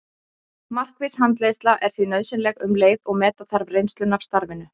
Markviss handleiðsla er því nauðsynleg um leið og meta þarf reynsluna af starfinu.